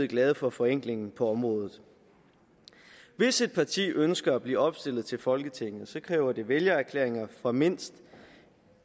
glade for forenklingen på området hvis et parti ønsker at blive opstillet til folketinget kræver det vælgererklæringer fra mindst